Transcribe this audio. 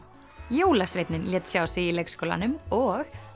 jólasveinninn lét sjá sig í leikskólanum og